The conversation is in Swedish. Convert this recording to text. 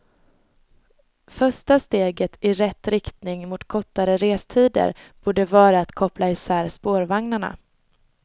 Första steget i rätt riktning mot kortare restider borde vara att koppla isär spårvagnarna.